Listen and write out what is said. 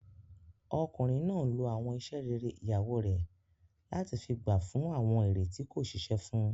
Ọkùnrin náà n lo àwọn iṣẹ́ rere ìyàwó rẹ̀ láti fi gba fún àwọn èrè tí kò ṣiṣẹ́ fún